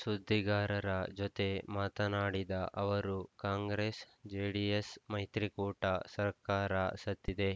ಸುದ್ದಿಗಾರರ ಜತೆ ಮಾತನಾಡಿದ ಅವರು ಕಾಂಗ್ರೆಸ್‌ ಜೆಡಿಎಸ್‌ ಮೈತ್ರಿಕೂಟ ಸರ್ಕಾರ ಸತ್ತಿದೆ